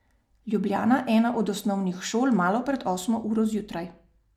Ljubljana, ena od osnovnih šol malo pred osmo uro zjutraj.